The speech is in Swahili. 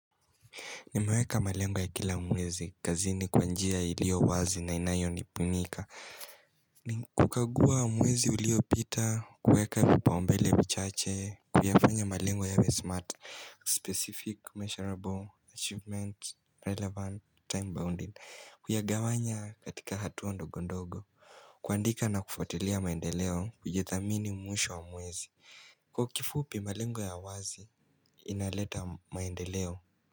Nimeweka malengo ya kila mwezi, kazini kwa njia iliyowazi na inayonibunika Nikukagua mwezi uliopita, kueka vipau mbele vichache, kuyafanya malengo yawe smart, specific, measurable, achievement, relevant, time-bounded Kuyagawanya katika hatua ndogo ndogo, kuandika na kufuatilia maendeleo kujithamini mwisho wa mwezi Kwa kifupi malengo ya wazi, inaleta maendeleo.